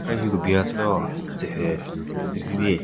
Ka hyu kebin yatselo tzehü tsü hyu bin.